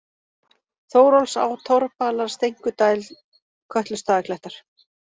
Þórólfsá, Torfbalar, Steinkudæl, Kötlustaðaklettar